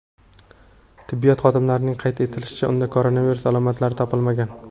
Tibbiyot xodimlarining qayd etishicha, unda koronavirus alomatlari topilmagan.